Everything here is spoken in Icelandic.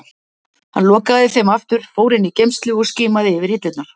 Hann lokaði þeim aftur, fór inn í geymslu og skimaði yfir hillurnar.